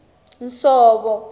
nsovo